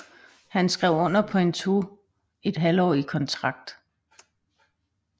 Han skrev under på en toethalvtårig kontrakt